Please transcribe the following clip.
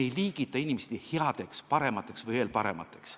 Me ei liigita inimesi headeks, paremateks ega veel paremateks.